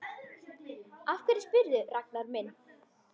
Af hverju spyrðu, Ragnar minn?